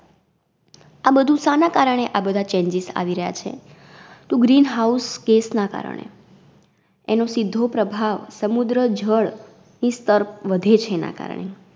આ બધુ સાના કારણે આ બધા changes આવી રયા છે? તો Green House Gas ના કારણે. એનો સીધો પ્રભાવ સમુદ્ર જળ ઈ સ્તર વધે છે એના કારણે.